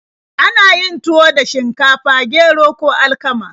Ana yin tuwo da shinkafa, gero, ko alkama.